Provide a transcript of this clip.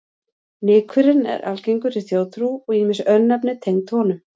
Nykurinn er algengur í þjóðtrú og ýmis örnefni tengd honum.